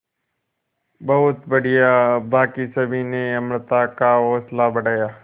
बहुत बढ़िया बाकी सभी ने अमृता का हौसला बढ़ाया